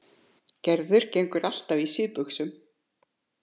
Gerður gengur alltaf í síðbuxum.